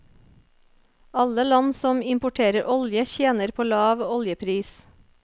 Alle land som importerer olje tjener på lav oljepris.